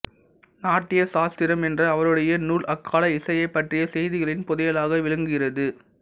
நாட்டிய சாஸ்திரம் என்ற அவருடைய நூல் அக்கால இசையைப் பற்றிய செய்திகளின் புதையலாக விளங்குகிறது